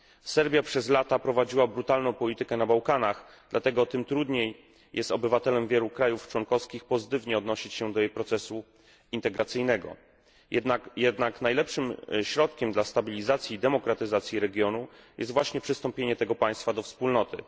Serbia przez lata prowadziła brutalną politykę na Bałkanach, dlatego tym trudniej jest obywatelom wielu krajów członkowskich pozytywnie odnosić się do jej procesu integracyjnego. Jednak najlepszym narzędziem stabilizacji i demokratyzacji regionu jest właśnie przystąpienie tego państwa do Wspólnoty.